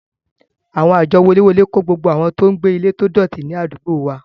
Àwọn àjọ woléwolé kó gbogbo àwọn tó ń gbé ilé tó dọ̀tí ní àdúgbò wa